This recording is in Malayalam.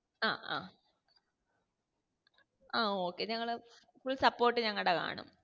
ആ ആഹ് ആ okay ഞങ്ങള് full support nangade കാണും